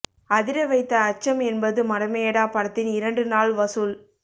அதிர வைத்த அச்சம் என்பது மடமையடா படத்தின் இரண்டு நாள் வசூல்